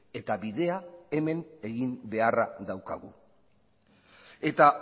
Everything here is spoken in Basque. eta bidea hemen egin beharra daukagu eta